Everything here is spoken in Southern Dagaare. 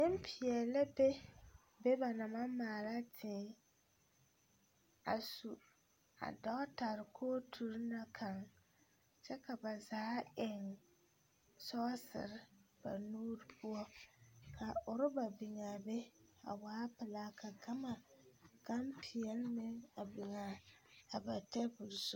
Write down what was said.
Nempeɛle la be be ba naŋ maŋ maala tii a su a dɔgetare kooturi na kaŋ kyɛ ka ba zaa eŋ sɔɔsere ba nuuri poɔ ka orɔba biŋ a be a waa pelaa ka gama gampeɛle meŋa biŋ a ba tabol zu.